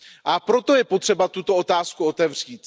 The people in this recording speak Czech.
A proto je potřeba tuto otázku otevřít.